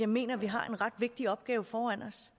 mener vi har en ret vigtig opgave foran os